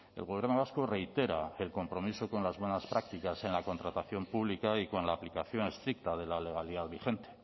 el gobierno vasco reitera el compromiso con las buenas prácticas en la contratación pública y con la aplicación estricta de la legalidad vigente